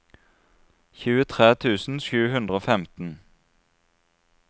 tjuetre tusen sju hundre og femten